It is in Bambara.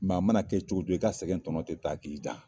Maa mana kɛ cogo jɔɔ i ka sɛgɛn tɔɔnɔ tɛ taa k'i dan.